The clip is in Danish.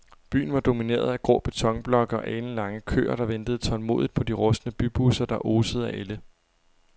Byen var domineret af grå betonblokke og alenlange køer, der ventede tålmodigt på de rustne bybusser, der osede af ælde.